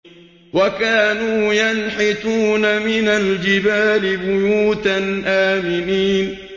وَكَانُوا يَنْحِتُونَ مِنَ الْجِبَالِ بُيُوتًا آمِنِينَ